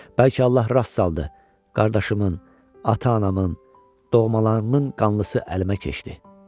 Bəlkə Allah rast saldı, qardaşımın, ata-anamın, doğmalarımın qanlısı əlimə keçdi.